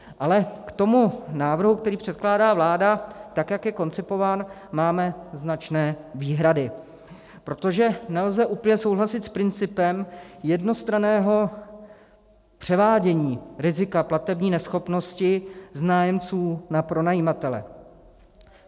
Ale k tomu návrhu, který předkládá vláda, tak jak je koncipován, máme značné výhrady, protože nelze úplně souhlasit s principem jednostranného převádění rizika platební neschopnosti z nájemců na pronajímatele.